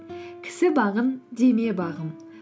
кісі бағын деме бағым